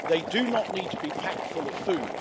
They do not need to be packed full of food.